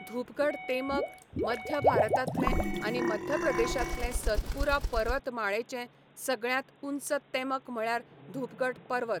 धुपगढ तेमक, मध्य भारतांतलें आनी मध्यप्रदेशांतलें सतपुरा पर्वतमाळेचें सगळ्यांत ऊंच तेमक म्हळ्यार धुपगढ पर्वत